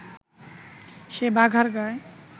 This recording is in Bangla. সে বাঘার গায়